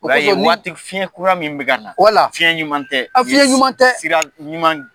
O ya ye waati fiɲɛ kura mun bɛ ka na, fiɲɛ ɲuman tɛ. Fiɲɛ ɲuman tɛ, sira ɲuman